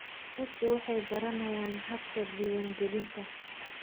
Dadku waxay baranayaan habka diiwaangelinta.